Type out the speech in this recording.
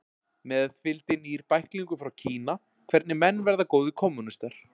Með fylgdi nýr bæklingur frá Kína, Hvernig menn verða góðir kommúnistar